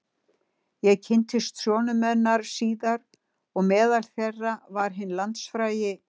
Ég kynntist sonum hennar síðar og meðal þeirra var hinn landsfrægi